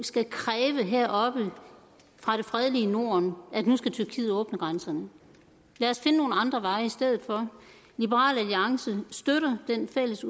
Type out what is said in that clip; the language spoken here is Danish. skal kræve heroppe fra det fredelige norden at nu skal tyrkiet åbne grænserne lad os finde nogle andre veje i stedet for liberal alliance støtter det fælles